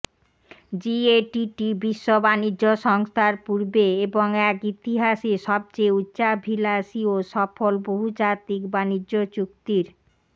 GATT বিশ্ব বাণিজ্য সংস্থার পূর্বে এবং এক ইতিহাসে সবচেয়ে উচ্চাভিলাষী ও সফল বহুজাতিক বাণিজ্য চুক্তির